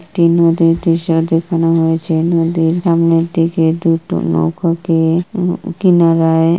একটি নদীর দৃশ্য দেখানো হয়েছে। নদীর সামনের দিকে দুটো নৌকাকে উঁ কিনারায়--